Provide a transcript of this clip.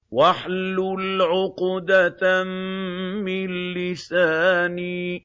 وَاحْلُلْ عُقْدَةً مِّن لِّسَانِي